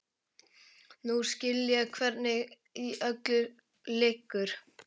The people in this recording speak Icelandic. Nú skil ég hvernig í öllu liggur.